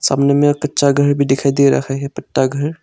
सामने में कच्चा घर भी दिखाई दे रहा है पत्ता घर।